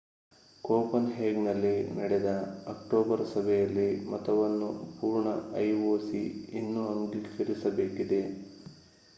ಕೋಪನ್‌ಹೇಗನ್‌ನಲ್ಲಿ ನಡೆದ ಅಕ್ಟೋಬರ್ ಸಭೆಯಲ್ಲಿ ಮತವನ್ನು ಪೂರ್ಣ ಐಒಸಿ ಇನ್ನೂ ಅಂಗೀಕರಿಸಬೇಕು